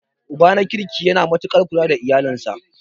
Uba na kirki yana matuaƙar kula da iyalinsa.